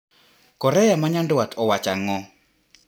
Korea manyandwat owacho ang`o?